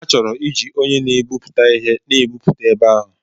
Ha chọrọ iji onye na-egwuputa ihe na-egwupụta ebe ahụ.